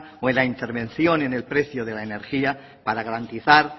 o en la intervención en el precio de la energía para garantizar